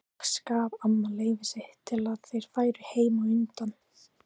Loks gaf amma leyfi sitt til að þeir færu heim á undan.